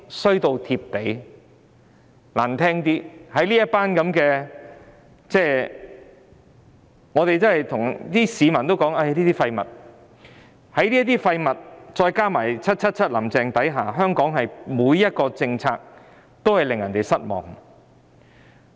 說得難聽些，香港已經"衰到貼地"，在這些"廢物"加上 "777" 或"林鄭"的管治下，香港每項政策都令市民失望。